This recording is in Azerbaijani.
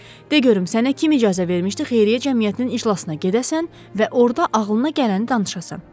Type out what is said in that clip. De görüm, sənə kim icazə vermişdi xeyriyyə cəmiyyətinin iclasına gedəsən və orda ağlına gələni danışasan?